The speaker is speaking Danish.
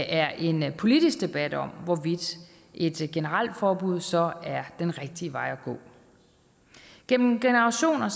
er en politisk debat om hvorvidt et generelt forbud så er den rigtige vej at gå gennem generationer